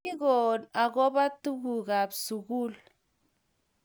kikoon akobo tugukab sukul